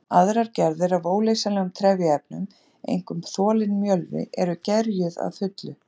Aðrar gerðir af óleysanlegum trefjaefnum, einkum þolinn mjölvi, eru gerjuð að fullu.